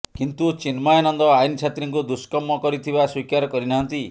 କିନ୍ତୁ ଚିନ୍ମୟାନନ୍ଦ ଆଇନ ଛାତ୍ରୀଙ୍କୁ ଦୁଷ୍କର୍ମ କରିଥିବା ସ୍ବୀକାର କରିନାହାନ୍ତି